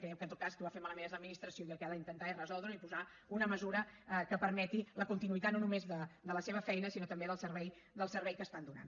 creiem que en tot cas qui ho ha fet malament és l’administració i que el que ha d’intentar és resoldre ho i posar hi una mesura que permeti la continuïtat no només de la seva feina sinó també del servei que estan donant